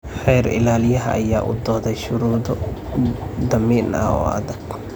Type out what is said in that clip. Xeer Ilaaliyaha ayaa u dooday shuruudo damiin ah oo adag.